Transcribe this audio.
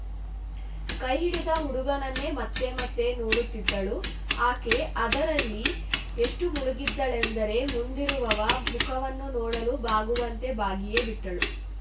ಕೈ ಹಿಡಿದ ಹುಡುಗನನ್ನೇ ಮತ್ತೆ ಮತ್ತೆ ನೋಡುತ್ತಿದ್ದಳು ಆಕೆ ಅದರಲ್ಲಿ ಎಷ್ಟುಮುಳುಗಿದ್ದಳೆಂದರೆ ಮುಂದಿರುವವ ಮುಖವನ್ನು ನೋಡಲು ಬಾಗುವಂತೆ ಬಾಗಿಯೇ ಬಿಟ್ಟಳು